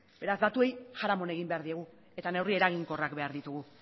beraz datuei jaramon egin behar diegu eta neurri eraginkorrak beha ditugu